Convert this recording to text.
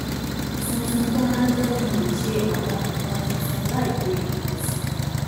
tuntun tó máa ń jẹ́ kí n lè ṣe àwọn nǹkan tuntun láì pe ènìyàn si